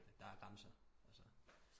Der er grænser altså